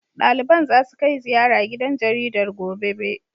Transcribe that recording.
Ɗaliban zasu kai ziyara gidan jaridar, gobe. be